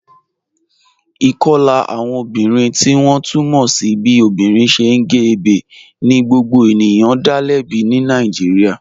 Ikọla awọn obìnrin tí wọn tú mọ́ sí bí obìnrin ṣẹ̀ gé ẹ̀bẹ̀ ni gbogbo ènìyàn dá lẹ̀bí ní Nàìjíríà.